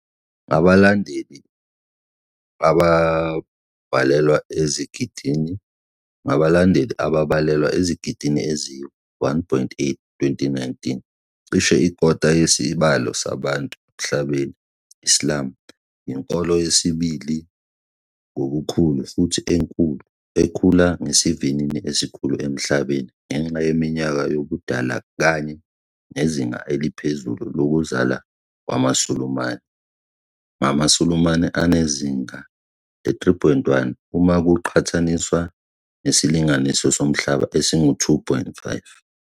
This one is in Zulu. Ngabalandeli ababalelwa ezigidini eziyi-1.8, 2019, cishe ikota yesibalo sabantu emhlabeni, Islam iyinkolo yesibili ngobukhulu futhi ekhula ngesivinini esikhulu emhlabeni ngenxa yeminyaka yobudala kanye nezinga eliphezulu lokuzala kwamaSulumane, ngamaSulumane anezinga le-, 3.1, uma kuqhathaniswa nesilinganiso somhlaba esingu-, 2.5.